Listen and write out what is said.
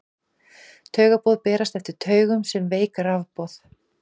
taugaboð berast eftir taugum sem veik rafboð